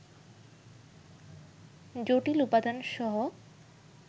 জটিল উপাদানসহ